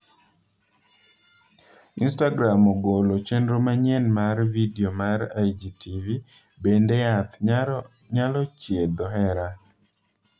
Instagram ogolo chenro manyien mar vidio mar IGTV Bende yath nyalo thiedho hera?